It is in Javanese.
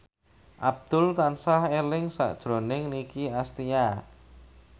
Abdul tansah eling sakjroning Nicky Astria